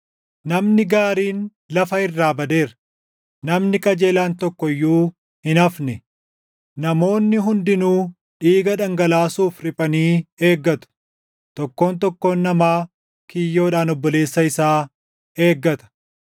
Namni gaariin lafa irraa badeera; namni qajeelaan tokko iyyuu hin hafne. Namoonni hundinuu dhiiga // dhangalaasuuf riphanii eeggatu; tokkoon tokkoon namaa // kiyyoodhaan obboleessa isaa eeggata.